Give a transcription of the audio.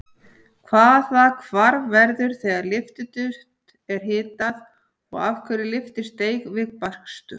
Hvaða hvarf verður þegar lyftiduft er hitað og af hverju lyftist deig við bakstur?